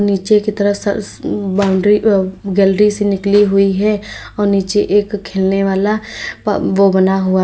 नीचे की तरफ स बाउंड्री अ गैलरी से निकली हुई है और नीचे एक खेलने वाला प वो बना हुआ--